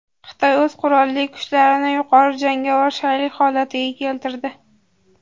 Xitoy o‘z qurolli kuchlarini yuqori jangovar shaylik holatiga keltirdi.